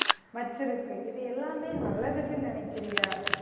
வச்சிருக்கு இது எல்லாமே நல்லதுக்குன்னு நினைக்கிறியா